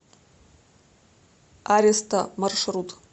аристо маршрут